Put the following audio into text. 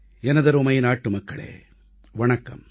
எனதருமை நாட்டுமக்களே வணக்கம்